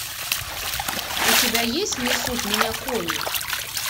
у тебя есть несут меня кони